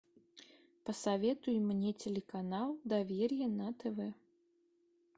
посоветуй мне телеканал доверие на тв